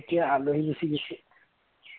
এতিয়া আলহী গুচি গৈছে